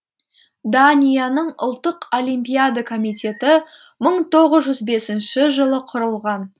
данияның ұлттық олимпиада комитеті мың тоғыз жүз бесінші жылы құрылған